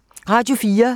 Radio 4